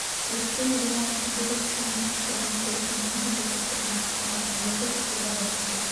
өткен демалыс күндері өскеменнің үш тұрғыны көлікпен қамыс өсіп тұрған жаққа барған оқыс оқиға болған жерде